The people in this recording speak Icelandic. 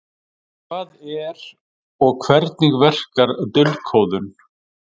Hvað er og hvernig verkar dulkóðun?